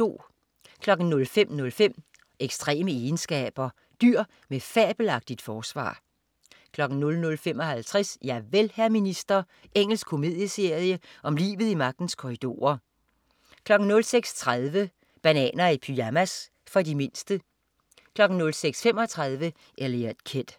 05.05 Ekstreme egenskaber. Dyr med fabelagtigt forsvar 05.55 Javel, hr. minister. Engelsk komedieserie om livet i magtens korridorer 06.30 Bananer i pyjamas. For de mindste 06.35 Eliot Kid